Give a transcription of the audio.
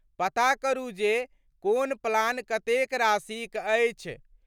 पता करू जे कोन प्लान कतेक राशिक अछि।